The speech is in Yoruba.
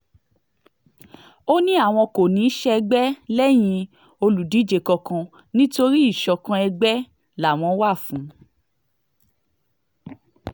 ó ní àwọn kò ní í ṣègbè lẹ́yìn olùdíje kankan nítorí ìṣọ̀kan ègbè làwọn wà fún